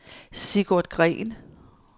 Sigurd Green